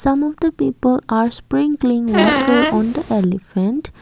some of the people are sprinkling water on the elephant.